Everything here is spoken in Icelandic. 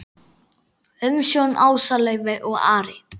Umsjón Ása Laufey og Ari.